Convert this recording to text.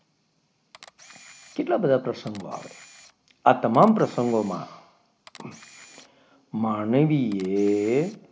કેટલા બધા પ્રસંગો આવે આ તમામ પ્રસંગોમાં માનવીએ,